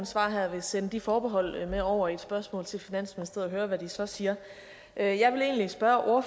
svar her vil sende de forbehold med over i et spørgsmål til finansministeriet og høre hvad de så siger jeg jeg vil egentlig spørge